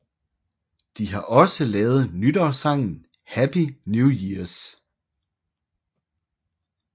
De har også lavet nytårssangen Happy New Years